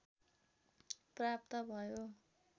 प्राप्त भयो।